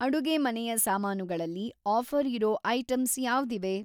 ಅಡುಗೆಮನೆಯ ಸಾಮಾನುಗಳಲ್ಲಿ ಆಫ಼ರ್‌ ಇರೋ ಐಟಂಸ್‌ ಯಾವ್ದಿವೆ?